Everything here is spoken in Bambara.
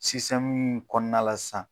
m kɔɔna la san